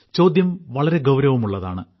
ചോദ്യം വളരെ ഗൌരവമുള്ളതാണ്